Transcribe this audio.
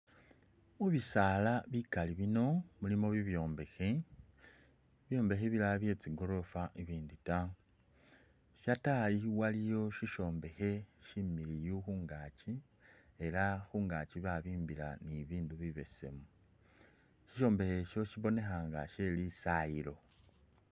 Mubisaala bikaali bino mulimo bibyombekhe bibyombekhe bilala bye tsi'goorofa ibindu taa shatayi waliyo sishombekhe similiyu khungaachi elah khungaachi babimbila ni'bibindu bibesemu, sishombekhe sho shibonekhanga she lisayilo